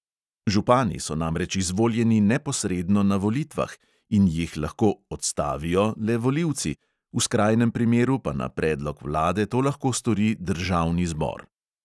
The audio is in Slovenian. Župani so namreč izvoljeni neposredno na volitvah in jih lahko "odstavijo" le volilci, v skrajnem primeru pa na predlog vlade to lahko stori državni zbor.